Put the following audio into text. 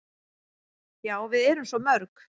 """Já, við erum svo mörg."""